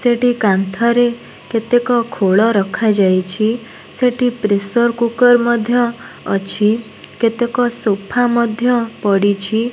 ସେଠି କାନ୍ଥରେ କେତେକ ଖୋଳ ରଖା ଯାଇଛି ସେଠି ପ୍ରେସର୍ କୂର୍କୁରେ ମଧ୍ୟ ଅଛି କେତେକ ସୋଫା ପଡ଼ିଛି।